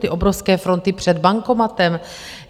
Ty obrovské fronty před bankomatem?